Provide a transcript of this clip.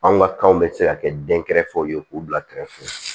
Anw ka kanw bɛ se ka kɛ denkɛrɛfɛw ye k'u bila kɛrɛfɛ